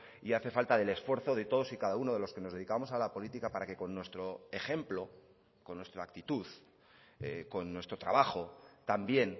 y hace falta del esfuerzo de todos y cada uno de los que nos dedicamos a la política para que con nuestro ejemplo con nuestra actitud con nuestro trabajo también